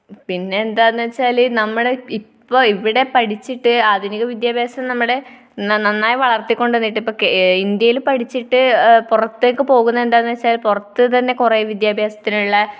പിന്നെ എന്താന്നുവെച്ചാൽ നമ്മുടെ ഇപ്പൊ ഇവിടെ പഠിച്ചിട്ട് ആധുനിക വിദ്യാഭ്യാസം നമ്മുടെ നന്നായി വളർത്തിക്കൊണ്ടുവന്നിട്ട് ഇപ്പൊ ഇന്ത്യയിൽ പഠിച്ചിട്ട് പുറത്തേയ്ക്കുപോകുന്നതെന്താണെന്നു വെച്ചാൽ പുറത്തുതന്നെ കുറെ വിദ്യാഭ്യാസത്തിനുള്ള